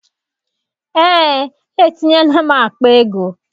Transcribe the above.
Eé, etinyela m akpa ego.